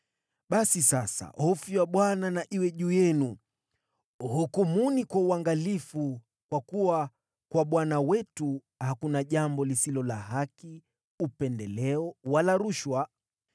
Basi sasa hofu ya Bwana na iwe juu yenu. Hukumuni kwa uangalifu, kwa kuwa kwa Bwana Mungu wetu hakuna jambo lisilo la haki, upendeleo, wala rushwa.”